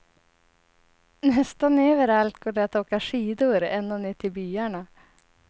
Nästan överallt går det att åka skidor ända ner till byarna.